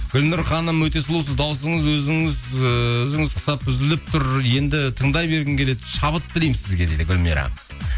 гүлнұр ханым өте сұлусыз даусыңыз ііі өзіңіз құсап үзіліп тұр енді тыңдай бергің келеді шабыт тілеймін сізге дейді гүлмира